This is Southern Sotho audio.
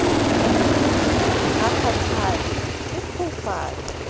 ha a kgathale o phofaka